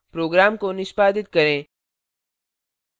program को निष्पादित करें